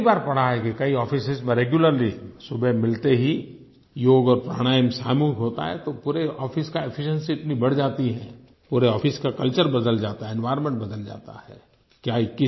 मैंने कई बार पढ़ा है कि कई आफिसों में रेग्युलरली सुबह मिलते ही योग और प्राणायाम सामूहिक होता है तो पूरे आफिस की एफिशिएंसी इतनी बढ़ जाती है पूरे आफिस का कल्चर बदल जाता है एनवायर्नमेंट बदल जाता है